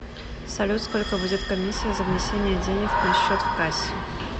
салют сколько будет комиссия за внесение денег на счет в кассе